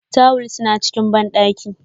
Tuwil suna cikin bandaki.